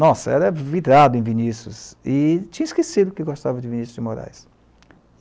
Nossa, era virado em Vinícius e tinha esquecido que gostava de Vinícius de Moraes.